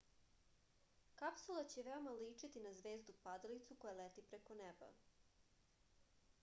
kapsula će veoma ličiti na zvezdu padalicu koja leti preko neba